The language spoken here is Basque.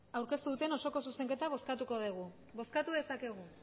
aurkeztu duten osoko zuzenketa bozkatuko dugu bozkatu dezakegu